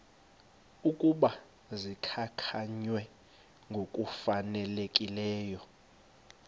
ukuba zikhankanywe ngokufanelekileyo